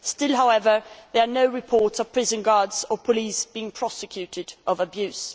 Still, however, there are no reports of prison guards or police being prosecuted for abuse.